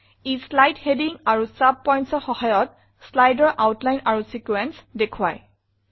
ই slide heading আৰু sub pointsৰ সহায়ত slideৰ আউটলাইন আৰু ছিকোয়েন্স দেখোৱায়